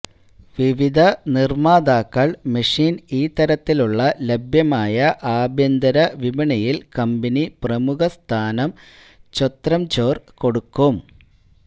വിവിധ നിർമ്മാതാക്കൾ മെഷീൻ ഈ തരത്തിലുള്ള ലഭ്യമായ ആഭ്യന്തര വിപണിയില് കമ്പനി പ്രമുഖ സ്ഥാനം ചൊംത്രചൊര് എടുക്കും